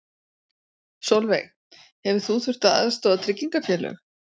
Sólveig: Hefur þú þurft að aðstoða tryggingafélög?